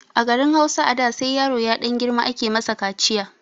A garin Hausa a da ,sai yaro ya ɗan girma ake masa kaciya.